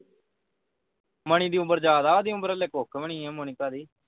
ਮਣੀ ਦੀ ਉਮਰ ਜਿਆਦਾ ਹੈ ਊਦੀ ਹਾਲੇ ਕੁਛ ਨਹੀਂ ਹੈ ਮੋਨਿਕਾ ਦੀ